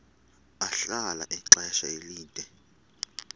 ahlala ixesha elide